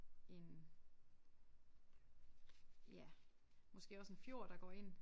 En ja måske også en fjord der går ind